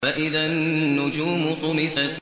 فَإِذَا النُّجُومُ طُمِسَتْ